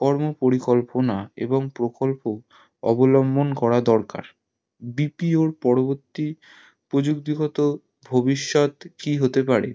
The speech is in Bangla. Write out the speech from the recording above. কর্ম পরিকল্পনা এবং প্রকল্প অবলম্বন করার দরকার BPO র পরবর্তী প্রযুক্তিগত ভবিষ্যৎ কি হতে পারে